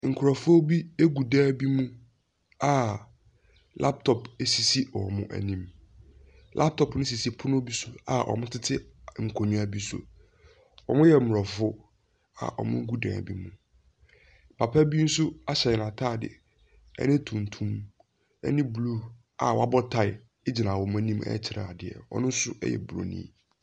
Nkurɔfoɔ bi gu dan bi mu a laptop sisi wɔn anim. Laptop no sisi pono bi so a wɔtete nkonnwa bi so. Wɔyɛ aborɔfo a wɔgu dan bi mu. Papa bi nso ahyɛ n'atade ne tuntum, ɛnne blue a wabɔ tae gyina wɔn anim rekyerɛ adeɛ, ɔno nso yɛ buroni.